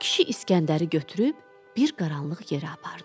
Kişi İsgəndəri götürüb bir qaranlıq yerə apardı.